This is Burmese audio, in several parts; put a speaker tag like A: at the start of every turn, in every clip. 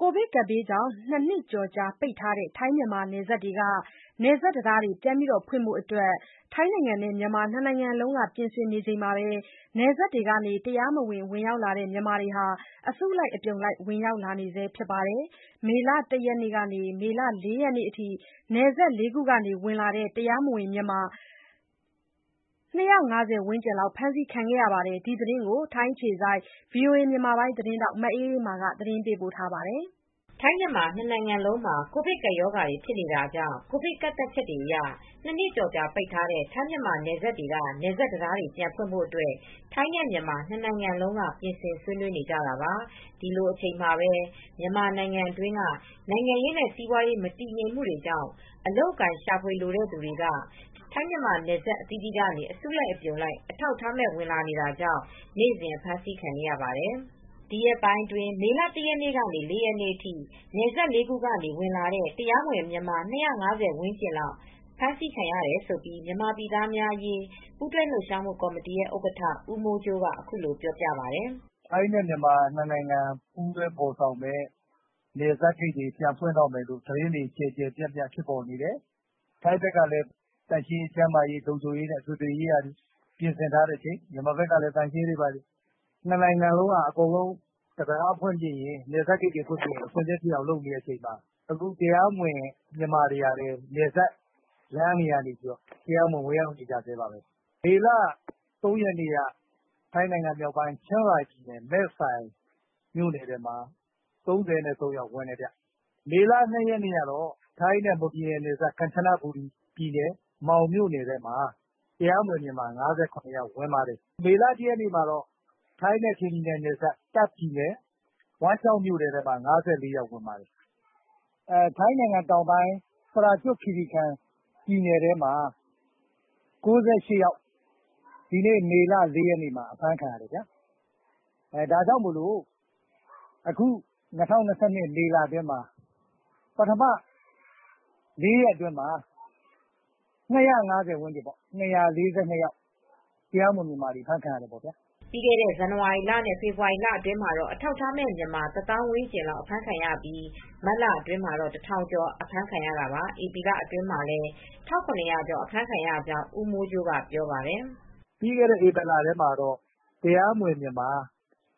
A: ကိုဗစ်ကပ်ဘေးကြောင့် နှစ်နှစ်ကျော်ကြာပိတ်ထားတဲ့ ထိုင်း-မြန်မာနယ်စပ်တံတားတွေ ပြန်ဖွင့်ဖို့ ထိုင်းနဲ့မြန်မာ နှစ်နိုင်ငံလုံးကပြင်ဆင်နေချိန်မှာပဲ နယ်စပ်တွေကနေ အလုပ်ရှာဖွေနေကြတဲ့ မြန်မာ နိုင်ငံသားတွေဟာ ထိုင်းနိုင်ငံဘက်ကို အစုလိုက်အပြုံလိုက် တရားမဝင် ဝင်ရောက်လာ နေကြဆဲ ဖြစ်ပါတယ်။ မေလ ၁ ရက်ကနေ ၄ ရက်အထိ နယ်စပ်ဒေသ ၄ ခုကနေ ဝင်လာတဲ့ အထောက် အထားမဲ့မြန်မာ ၂၅၀ ဝန်းကျင်လောက်လည်း အဖမ်းခံထားရပါတယ်။ ဒီသတင်းကို ထိုင်းအခြေစိုက် ဗွီအိုအေသတင်းထောက် မအေးအေးမာက သတင်းပေးပို့ထားပါ
B: တယ်။ ကိုဗစ်ကပ်ရောဂါဖြစ်ချိန်ကစလို့ ကိုဗစ်ကာကွယ်တားဆီးရေးဆိုင်ရာ ကန့်သတ်ချက်တွေအရ နှစ်နှစ်ကျော်ကြာပိတ်ထားတဲ့ ထိုင်းမြန်မာနယ်စပ်တွေက တံတားတွေ ပြန်ဖွင့်ဖို့ ထိုင်းနဲ့မြန်မာ နှစ်နိုင်ငံလုံးက ပြင်ဆင်ဆွေးနွေးနေကြပါတယ်။ ဒီလိုအချိန်မှာပဲ ပြည်တွင်း နိုင်ငံရေးနဲ့စီးပွါးရေး မတည်ငြိမ်မှုတွေကြောင့် အလုပ်အကိုင်ရှာဖွေလိုသူ မြန်မာတွေဟာ ထိုင်းမြန်မာ နယ်စပ်အသီးသီး ကနေ အစုလိုက်၊ အပြုံလိုက် အထောက်အထားမဲ့ဝင်ရောက်လာနေကြကြောင့် နေ့စဉ်လိုလို အဖမ်း ခံနေရတာလည်းဖြစ်ပါတယ်။ မေလ ၁ ရက်ကနေ ၄ ရက်နေ့အထိ ဝင်ရောက်လာတဲ့ အထောက် အထားမဲ့မြန်မာ ၂၅၀ ဝန်းကျင်လောက် အဖမ်းခံထားရတဲ့အကြောင်း မြန်မာပြည် သားများအရေး ပူးတွဲလှုပ်ရှားမှုကော်မတီဥက္ကဋ္ဌ ဦးမ
C: ိုးကြိုးက အခုလိုပြောပါတယ်။ “ထိုင်းနဲ့မြန်မာ နှစ်နိုင်ငံ ပူးတွဲဖော်ဆောင်မယ့် နယ်စပ်ဂိတ်တွေ ပြန်ဖွင့်တော့မယ်ဆိုပြီး ကျယ်ကျယ် ပြန့်ပြန့်ဖြစ်ပေါ်နေတယ်။ ထိုင်းဘက်ကလည်း သန့်ရှင်းရေး၊ ကျန်းမာရေးနဲ့ လုံခြုံရေး အထွေထွေ ကိစ္စတွေ ပြင်ဆင်ထားတယ်။ မြန်မာနိုင်ငံဘက်ကလည်း သန့်ရှင်းရေးတွေလုပ်ပြီး နှစ်နိုင်ငံလုံးကလည်း အကုန်လုံး နယ်စပ်က တံတားဖွင့်ချိန်မှာ အဆင်သင့်ဖြစ်အောင်လုပ်နေချိန်မှာ မြန်မာတွေက နယ်စပ် လမ်းတွေကနေပြီး တရားမဝင် ဝင်ရောက်နေဆဲပါပဲ။ မေလ ၃ ရက်နေ့က ထိုင်းနိုင်ငံမြောက်ပိုင်း ချင်းရိုင်ပြည်နယ် မဲဆိုင်ဘက်မှာ တရားမဝင်မြန်မာ ၃၃ ယောက် ဝင်တယ်။ မေလ ၂ ရက်နေ့ကက ထိုင်းနဲ့မွန်နယ်စပ်၊ ကမ်ချနဘူရီပြည်နယ် မောင် မြို့နယ်ထဲမှာ တရားမဝင် မြန်မာ ၅၇ ယောက် ဝင်ပါ တယ်။ ထိုင်းနိုင်ငံတောင်ပိုင်း ပရာကျွတ်ခီရီကန်ပြည်နယ်ထဲမှာ ၉၈ ယောက် ဒီနေ့ မေလ ၄ ရက်နေ့မှာ အဖမ်းခံရတယ်။ ၂၀၂၂ ခုနှစ်၊ မေလ ပထမလေးရက်အတွင်းမှာ ၂၄၂ ယောက် ၂၅၀ ဝန်းကျင်လောက် အဖမ်းခံရပါတယ်။”
B: ပြီးခဲ့တဲ့ ဇန်နဝါရီလနဲ့ဖေဖေါ်ဝါရီလတွေအတွင်းမှာတော့ အထောက်အထားမဲ့မြန်မာ တသောင်း ဝန်းကျင် လောက် အဖမ်းခံခဲ့ရပြီး မတ်လထဲမှာ ၁,၀၀၀ ကျော် အဖမ်းခံခဲ့ရတာပါ။ ဧပြီလအတွင်း မှာလည်း ၁,၇၀၀ ကျော် အဖမ်းခံရကြောင်း ဦးမိုးကြိုးက ပြောပါတယ်။ “ပ
C: ြီးခဲ့တဲ့လထဲမှာတော့ တရားမဝင်မြန်မာ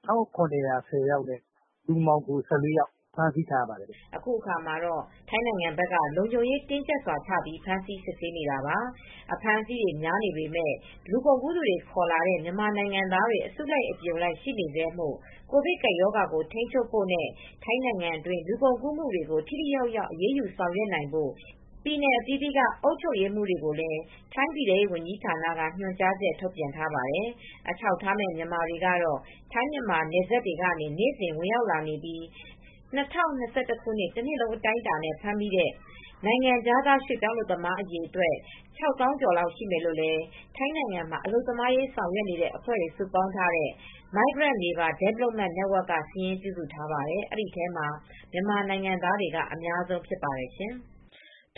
C: အဖမ်းအဆီးခံရသူ ၁,၇၀၄ ယောက်နဲ့ လူမှောင်ခို ၁၄ ယောက် အဖမ်းအဆီးခံရပါတယ်။
B: ” အခုအခါမှာတော့ ထိုင်းနိုင်ငံဘက်က လုံခြုံရေး တင်းတင်းကြပ်ကြပ်ချပြီး ဖမ်းဆီးစစ်ဆေးနေတာပါ။ အဖမ်းအဆီးတွေ များနေပေမယ့် လူကုန်ကူးသူတွေခေါ်လာတဲ့ မြန်မာနိုင်ငံသားတွေ အစုလိုက် အပြုံလိုက်ရှိနေဆဲဖြစ်လို့ ကိုဗစ်ကပ်ရောဂါကို ထိန်းချုပ်ဖို့နဲ့ ထိုင်းနိုင်ငံအတွင်း လူကုန်ကူးမှုတွေကို ထိထိရောက်ရောက် အရေးယူဆောင်ရွက်နိုင်ဖို့ ပြည်နယ်အသီးသီးက အုပ်ချုပ်ရေးမှူးတွေကိုလည်း ထိုင်းပြည်ထဲရေးဝန်ကြီးဌာနက ညွှန်ကြားချက် ထုတ်ပြန်ထားပါတယ်။ အထောက်အထားမဲ့မြန်မာတွေကတော့ ထိုင်း မြန်မာ နယ်စပ်တွေကနေ နေ့စဉ်ဝင်ရောက်နေပြီး ၂၀၂၁ ခုနှစ် တနှစ်လုံးအတိုင်းအတာနဲ့ ဖမ်းမိတဲ့ နိုင်ငံခြားသား ရွှေ့ပြောင်းအလုပ်သမားအရေအတွက်ဟာ ၆၀,၀၀၀ ကျော်လောက် ရှိမယ်လို့လည်း ထိုင်းနိုင်ငံမှာ အလုပ်သမားအရေး ဆောင်ရွက်နေတဲ့အဖွဲ့တွေ စုပေါင်းထားတဲ့ Migrant Labour Development Network ကစာရင်း ပြုစုထားပါတယ်။ အဲဒီထဲမှာ မြန်မာနိုင်ငံသားတွေက အများဆုံးဖြစ်ပါတယ် ရှင်။